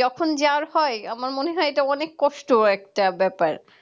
যখন যার হয় আমার মনে হয় এটা অনেক কষ্ট একটা ব্যাপার